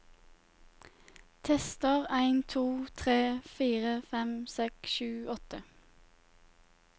Tester en to tre fire fem seks sju åtte